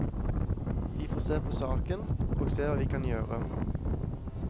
Vi får se på saken og se hva vi kan gjøre.